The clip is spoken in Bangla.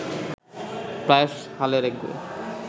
প্রায়শ হালের একগুঁয়ে